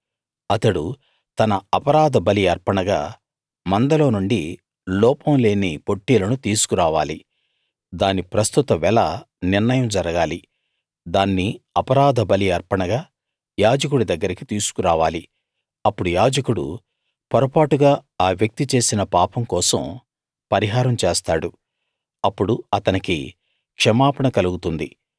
అతడు తన అపరాధ బలి అర్పణగా మందలో నుండి లోపం లేని పొట్టేలును తీసుకు రావాలి దాని ప్రస్తుత వెల నిర్ణయం జరగాలి దాన్ని అపరాధ బలి అర్పణగా యాజకుడి దగ్గరికి తీసుకురావాలి అప్పుడు యాజకుడు పొరపాటుగా ఆ వ్యక్తి చేసిన పాపం కోసం పరిహారం చేస్తాడు అప్పుడు అతనికి క్షమాపణ కలుగుతుంది